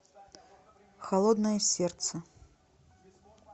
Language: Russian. холодное сердце